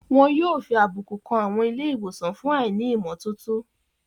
Wọn yóò fi àbùkù kan àwọn ilé ìwòsàn fún àìní ìmọ́tótó